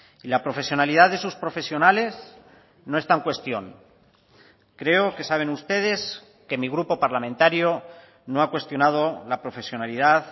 y la profesionalidad de sus profesionales no está en cuestión creo que saben ustedes que mi grupo parlamentario no ha cuestionado la profesionalidad